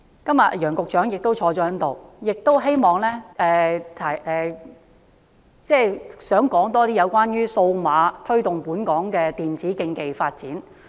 今天楊局長亦在席，我也想討論推動本港電子競技發展。